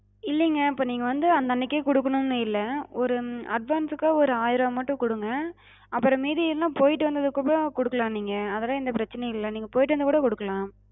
இல்லைங்க, இப்ப நீங்க வந்து அந்த அன்னைக்கே குடுக்கணும்னு இல்ல. ஒரு உம் advance க்கு ஒரு ஆயிர ரூபா மட்டும் குடுங்க. அப்பறம் மீதி இருந்து போயிட்டு வந்ததுக்கு அப்பறம் குடுக்கலாம் நீங்க. அதுலாம் எந்தப் பிரச்சனையும் இல்ல. நீங்க போயிட்டு வந்து கூடக் குடுக்கலாம்.